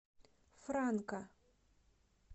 франка